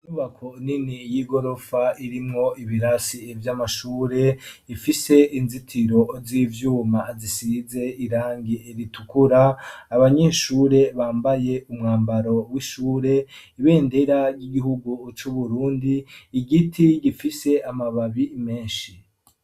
Inyubako nini, y'igorofa, irimwo ibirasi, vy'amashure, ifise inzitiro z'ivyuma, zisize irangi ritukura; abanyeshure, bambaye umwambaro w'ishure, ibendera ry'igihugu, c'Uburundi, igiti gifise, amababi menshi.